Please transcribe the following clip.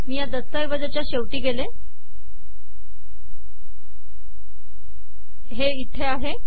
मी या दस्तऐवजाच्या शेवटी जाते हे इथे आहे